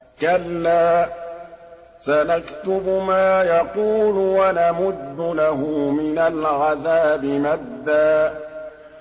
كَلَّا ۚ سَنَكْتُبُ مَا يَقُولُ وَنَمُدُّ لَهُ مِنَ الْعَذَابِ مَدًّا